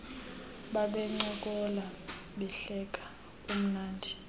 babencokola behleka kumnandi